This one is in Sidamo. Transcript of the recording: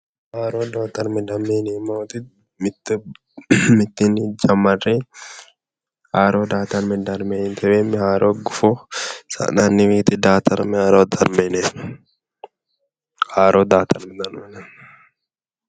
Hara daa"ata darama yinneemmo woyte mitteenni jamarre haaro gufo sa'nanni woyite daa"atame yinneemmo ,haaro daa"atame yineemmo.